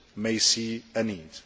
may see a need.